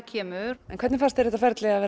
kemur hvernig fannst þér þetta ferli að